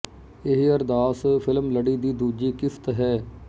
ਇਹ ਅਰਦਾਸ ਫ਼ਿਲਮ ਲੜੀ ਦੀ ਦੂਜੀ ਕਿਸ਼ਤ ਹੈ